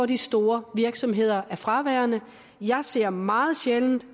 de store virksomheder er fraværende jeg ser meget sjældent